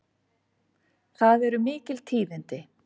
Það eru mikil tíðindi!